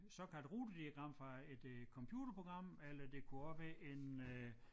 Såkaldt rutediagram fra et øh computerprogram eller det kunne også være en øh